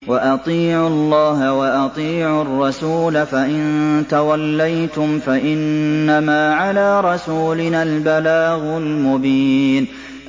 وَأَطِيعُوا اللَّهَ وَأَطِيعُوا الرَّسُولَ ۚ فَإِن تَوَلَّيْتُمْ فَإِنَّمَا عَلَىٰ رَسُولِنَا الْبَلَاغُ الْمُبِينُ